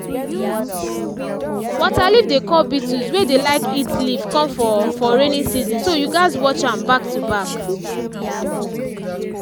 waterleaf dey call beetles wey dey like eat leaf come for for raining season so you gats watch am back to back